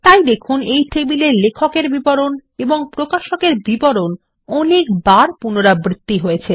তাই দেখুন এই টেবিলে লেখক এর বিবরণ ও প্রকাশক এর বিবরণ অনেক বার পুনরাবৃত্তি হয়েছে